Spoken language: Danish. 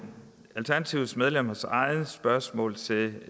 alternativets medlemmers eget spørgsmål til